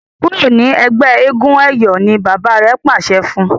kúrò ní ègbé éégun eyọ! ní bàbá rẹ pàṣẹ fún.